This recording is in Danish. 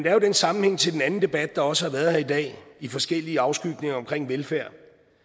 er jo den sammenhæng til den anden debat der også har været her i dag i forskellige afskygninger omkring velfærd